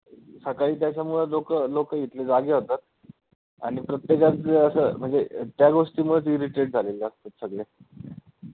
सकाळी त्याच्यामुळे लोकं लोकं इथली जागी होतात आणि प्रत्येकाचं असं म्हणजे त्या गोष्टीमुळेचं irritate झालेले असतात सगळे